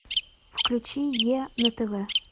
включи е на тв